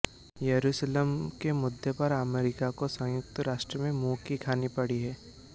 येरुशलम के मुद्दे पर अमेरिका को संयुक्त राष्ट्र में मुंह की खानी पड़ी है